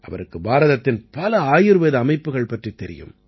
அவருக்கு பாரதத்தின் பல ஆயுர்வேத அமைப்புகள் பற்றித் தெரியும்